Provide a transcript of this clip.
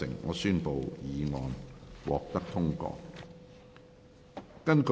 我宣布議案獲得通過。